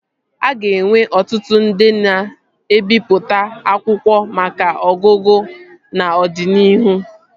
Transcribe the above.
A ga-enwe ọtụtụ ndị na-ebipụta akwụkwọ maka ọgụgụ n'ọdịnihu